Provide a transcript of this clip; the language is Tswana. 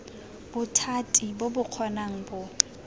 bothati bo bo kgonang bo